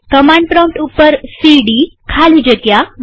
command prompt ઉપર CD ખાલી જગ્યા